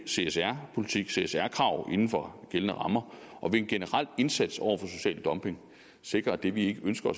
csr politik csr krav inden for gældende rammer og via en generel indsats over for social dumping sikre at det vi ikke ønsker